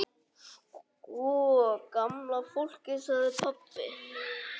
Sko gamla fólkið sagði pabbi.